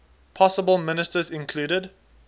possible ministers included